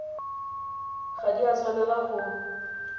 ga di a tshwanela go